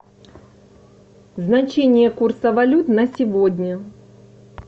значение курса валют на сегодня